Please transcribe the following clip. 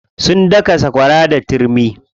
Sun daka sakwara da turmi.